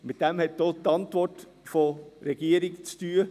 Damit hat auch die Antwort der Regierung zu tun.